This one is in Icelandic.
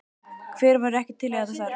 Hver væri ekki til í þetta starf?